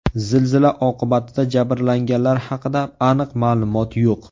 Zilzila oqibatida jabrlanganlar haqida aniq ma’lumot yo‘q.